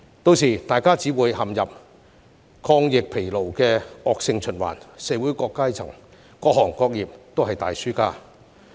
屆時，大家只會陷入抗疫疲勞的惡性循環，社會各階層和各行各業也是大輸家。